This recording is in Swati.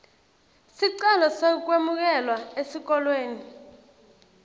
sicelo sekwemukelwa esikolweni